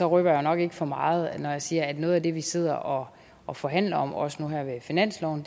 røber nok ikke for meget når jeg siger at noget af det vi sidder og og forhandler om også nu her ved finansloven